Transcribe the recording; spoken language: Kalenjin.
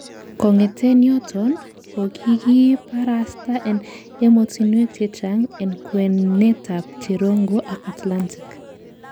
Kong'eten yoton, kokikiparasta en emotinwek chechang en kwenetab cherongo ak Atlantic.